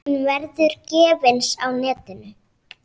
Hún verður gefins á netinu.